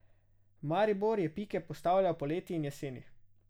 Maribor je pike postavljal poleti in jeseni.